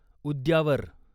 उद्यावर